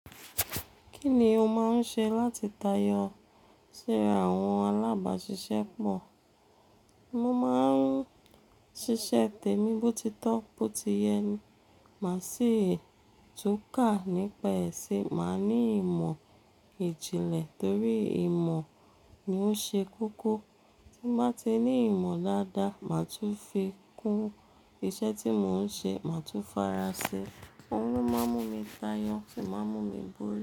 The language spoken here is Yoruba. Kí ni o máa ń ṣe láti tayọ sí àwọn alábàáṣiṣẹ́ pọ̀? Mo máa ń ṣiṣẹ́ tèmi bí ó ti tọ́, bó ti yẹ ní, màá sì túká nípa ẹ̀ṣẹ̀, màá ní ìmọ̀ ìjìnlẹ̀ torí ìmọ̀ ni ó ṣe kókó. Tí mo bá ti ní ìmọ̀ dáadáa, màá tún fi kún iṣẹ́ tí mò ń ṣe, màá tún fara ṣe. Òun ló máa ńmú mi tayọ̀, sì máa mú mi búrú.